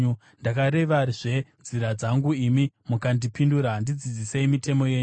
Ndakarevazve nzira dzangu imi mukandipindura; ndidzidzisei mitemo yenyu.